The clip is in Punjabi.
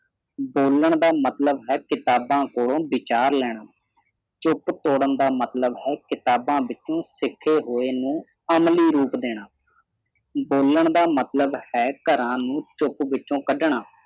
ਬੋਲਣ ਦਾ ਮਤਲਬ ਇਹ ਕਿਤਾਬਾਂ ਖੋਲ੍ਹੋ ਵਿਚਾਰ ਲੈਣਾ ਚੁੱਪ ਤੋੜਨ ਦਾ ਮਤਲਬ ਹੈ ਕਿਤਾਬਾਂ ਵਿਚੋਂ ਸਿੱਖੇ ਹੋਏ ਨੂੰ ਅਮਲੀ ਰੂਪ ਦੇਣਾ ਬੋਲਣ ਦਾ ਮਤਲਬ ਹੈ ਘਰਾਂ ਨੂੰ ਚੁੱਪ ਵਿਚੋ ਕੱਢਣਾ